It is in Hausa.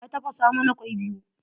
Ya tafasa mana kwai biyu.